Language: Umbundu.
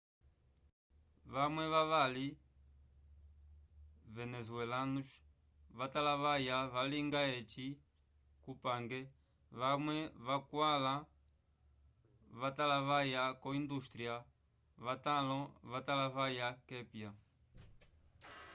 vamwe vavali venezuelanos va talavaya valinga eci kupange vamwe vakwala vatalavya ko industria va talo vatalavya kepya